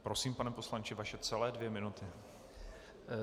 Prosím, pane poslanče, vaše celé dvě minuty.